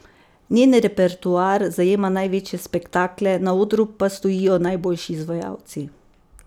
Njen repertoar zajema največje spektakle, na odru pa stojijo najboljši izvajalci.